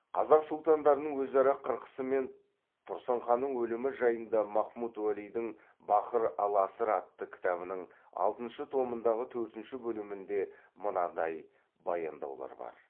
қазақ сұлтандарының өзара қырқысы мен тұрсын ханның өлімі жайында махмуд уәлидің бахр ал аср атты кітабының алтыншы томындағы төртінші бөлімінде мынандай баяндаулар бар